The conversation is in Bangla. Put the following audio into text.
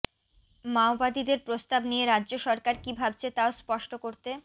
মাওবাদীদের প্রস্তাব নিয়ে রাজ্য সরকার কী ভাবছে তাও স্পষ্ট করতে